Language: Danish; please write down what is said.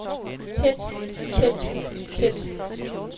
tæt tæt tæt